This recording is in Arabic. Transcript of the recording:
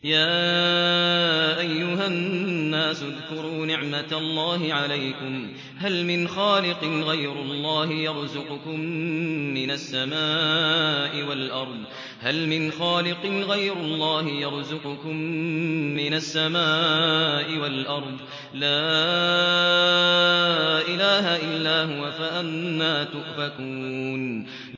يَا أَيُّهَا النَّاسُ اذْكُرُوا نِعْمَتَ اللَّهِ عَلَيْكُمْ ۚ هَلْ مِنْ خَالِقٍ غَيْرُ اللَّهِ يَرْزُقُكُم مِّنَ السَّمَاءِ وَالْأَرْضِ ۚ لَا إِلَٰهَ إِلَّا هُوَ ۖ فَأَنَّىٰ تُؤْفَكُونَ